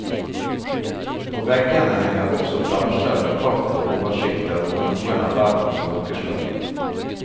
På veggene henger også plansjer med kart og oversikter over noen av verdens folkeslag.